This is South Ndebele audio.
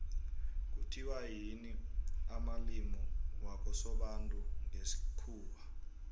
kuthiwa yimi amalimi wakosobantu ngesikhuwa